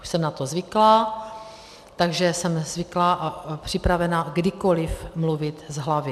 Už jsem na to zvyklá, takže jsem zvyklá a připravená kdykoliv mluvit z hlavy.